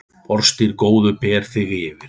Orðstír góður ber þig yfir.